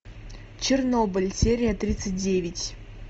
чернобыль серия тридцать девять